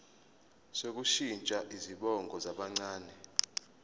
sokushintsha izibongo zabancane